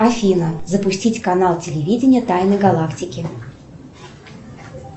афина запустить канал телевидения тайны галактики